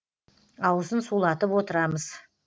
аузын сулатып отырамыз